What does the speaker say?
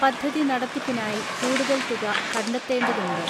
പദ്ധതി നടത്തിപ്പിനായി കൂടുതൽ തുക കണ്ടെത്തേണ്ടതുണ്ട്.